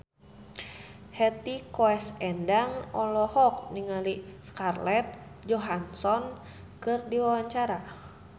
Hetty Koes Endang olohok ningali Scarlett Johansson keur diwawancara